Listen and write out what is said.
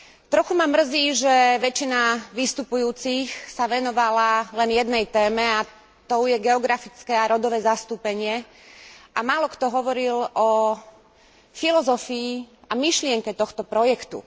Trochu ma mrzí, že väčšina vystupujúcich sa venovala len jednej téme, a tou je geografické a rodové zastúpenie a málokto hovoril o filozofii a myšlienke tohto projektu.